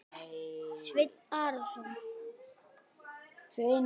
Sveinn Arason.